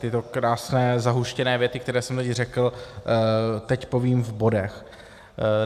Tyto krásné, zahuštěné věty, které jsem teď řekl, teď povím v bodech.